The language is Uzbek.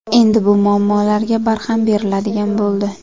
Endi bu muammolarga barham beriladigan bo‘ldi.